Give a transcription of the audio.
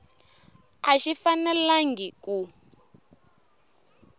a xi fanelangi ku